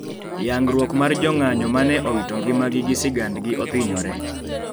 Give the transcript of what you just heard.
Yangruok mar jong'anyo mane owito ngimagi gi sigandgi othinyore.